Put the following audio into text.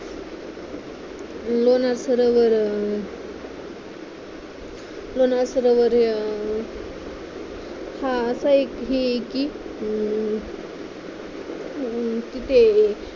लोणार सरोवर लोणार सरोवर हा असा एक हे आहे कि तिथे